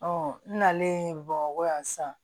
n nalen bamakɔ yan sisan